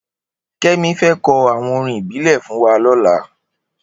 Kemi fè kò áwòn órìn ìbílè fún wà lòlà